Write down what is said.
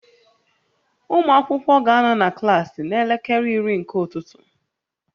Ụmụ akwụkwọ ga-anọ na klaasị n'elekere iri nke ụtụtụ